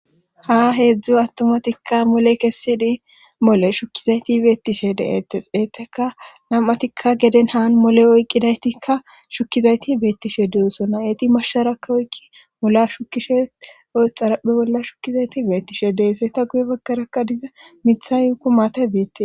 ha heedzdzu attomatikka mole kessidi mole shukkizayti beettishe deetes eeteka nam7atikka geden haan mole oyqqidaytikka shukkizayti beettishe de7esona eti mashsharakka oykki molla shukishe xaraphe bolla shukkizayti beettishe deese ta guye baggarakka diza mitha y woykko maate beettees